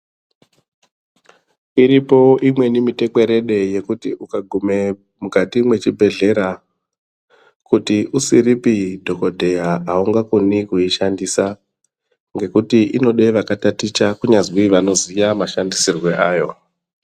Iripo imweni mitekwerede yekuti ukagume mukati mwezvibhehlera kuti usiripi dhokoteya haungakoni kuishandisa ngekuti inode vakataticha kunyazwi vanoziya mashandisirwe ayo.